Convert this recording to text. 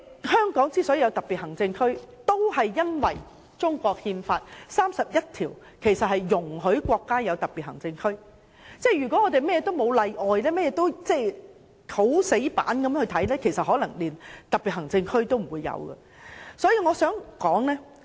香港成為特別行政區，也是因為《中國憲法》第三十一條訂明容許國家設立特別行政區，如果甚麼都沒有例外或我們很死板地看待事情，可能連特別行政區都不會設立。